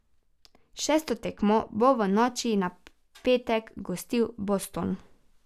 Šesto tekmo bo v noči na petek gostil Boston.